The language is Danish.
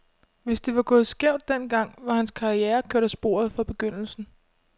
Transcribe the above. Hvis det var gået skævt den gang, var hans karriere kørt af sporet fra begyndelsen.